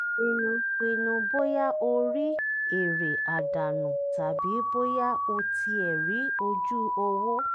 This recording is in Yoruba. pinnu pinnu bóyá o ri èrè àdànù tàbí bóyá o tiẹ ri oju-owo.